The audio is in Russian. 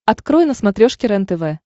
открой на смотрешке рентв